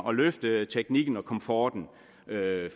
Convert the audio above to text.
at løfte teknikken og komforten